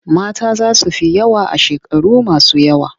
Mata za su fi maza yawa a shekaru masu yawa.